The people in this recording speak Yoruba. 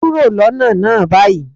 Kúrò lọ́nà náà báyìí!